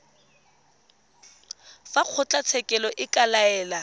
fa kgotlatshekelo e ka laela